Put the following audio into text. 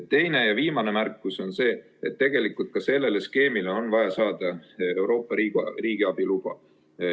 Teine ja viimane märkus on see, et tegelikult on vaja ka sellele skeemile saada Euroopast riigiabiluba.